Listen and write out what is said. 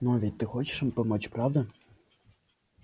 но ведь ты хочешь им помочь правда